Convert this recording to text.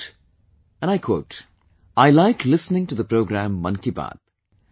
He wrote, "I like listening to the programme Mann Ki Baat